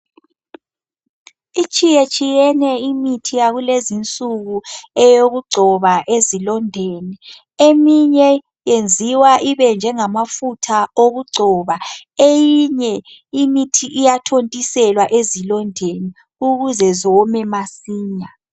Itshiyetshiyene imithi yakulezinsuku eyokugcoba ezilondeni, eminye yenziwa ibenjengamafutha okugcoba, eyinye imithi iyathontiselwa ezilondeni ukuze ziwome masinya.